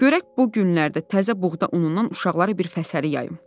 Görək bu günlərdə təzə buğda unundan uşaqlara bir fəsəli yayım.